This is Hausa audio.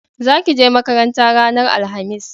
Za ki je makaranta ranar alhamis!